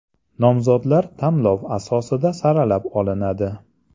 Nomzodlar tanlov asosida saralab olinadi.